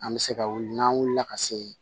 An bɛ se ka wuli n'an wulila ka se